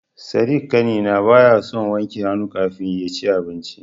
Sadik ƙanina baya son wanke hannu kafin yaci abinci.